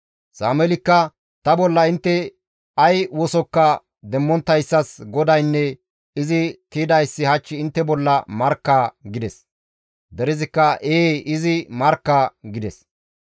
Sameelikka, «Ta bolla intte ay wosokka demmonttayssas GODAYNNE izi tiydayssi hach intte bolla markka» gides. Derezikka «Ee izi markka» gides.